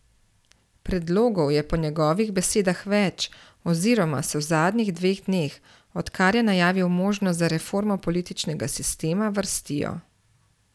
Predlogov je po njegovih besedah več oziroma se v zadnjih dveh dneh, odkar je najavil možnosti za reformo političnega sistema, vrstijo.